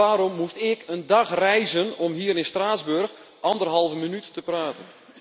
En waarom moest ik een dag reizen om hier in Straatsburg anderhalve minuut te praten?